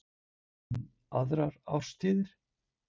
En aðrar árstíðir?